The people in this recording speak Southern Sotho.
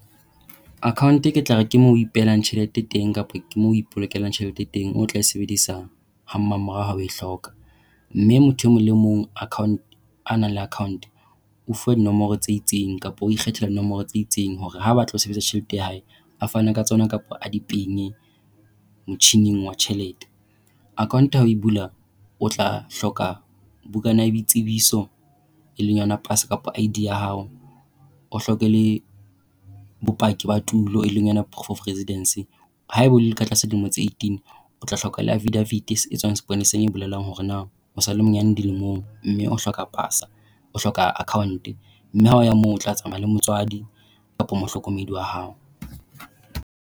Account ke tla re ke moo o ipehelang tjhelete teng, kapa ke moo o ipolokelang tjhelete teng o tla e sebedisa ha mmamorao ha o e hloka. Mme motho e mong le mong account a nang le account o fuwa dinomoro tse itseng, kapa o ikgethela dinomoro tse itseng hore ha a batla ho sebedisa tjhelete ya hae a fane ka tsona kapa a di penye motjhining wa tjhelete. Account ha o e bula, o tla hloka bukana ya boitsebiso, e leng yona pasa kapa ID ya hao. O hloka le bopaki ba tulo e leng yona proof of residence. Haeba o le ka tlasa dilemo tse eighteen, o tla hloka le affidavit e bolelang hore na o sa le monyane dilemong, mme o hloka pasa, o hloka account. Mme ha o ya moo o tla tsamaya le motswadi kapa mohlokomedi wa hao.